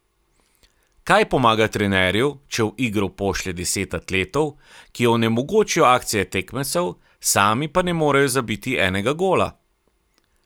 Kaj pomaga trenerju, če v igro pošlje deset atletov, ki onemogočijo akcije tekmecev, sami pa ne morejo zabiti enega gola?